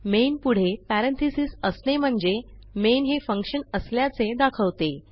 main पुढे parenthesis असणे म्हणजे मेन हे फंक्शन असल्याचे दाखवते